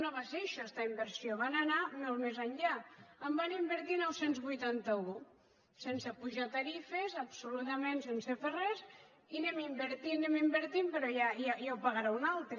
no va ser això esta inversió van anar molt més enllà en van invertir nou cents i vuitanta un sense apujar tarifes absolutament sense fer res i hi anem invertint hi anem invertint però ja ho pagarà un altre